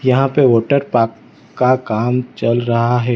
यहां पे water park का काम चल रहा है।